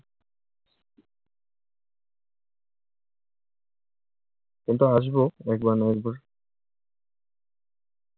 কিন্তু আসবো। একবার না একবার।